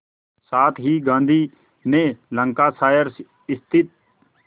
साथ ही गांधी ने लंकाशायर स्थित